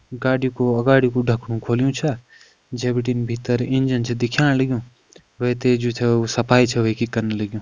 गाड़ी कु अगाड़ी कू ढकणु खोल्युं छा जै बिटिन भितर इंजन छ दिख्याण लग्युं वै ते जू छ सफाई छ वै कि कन लग्युं।